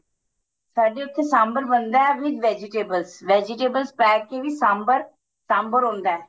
ਸਾਡੇ ਉੱਥੇ ਸਾਂਬਰ ਬਣਦਾ with vegetables vegetables ਪੈ ਕੇ ਵੀ ਸਾਂਬਰ ਸਾਂਬਰ ਹੁੰਦਾ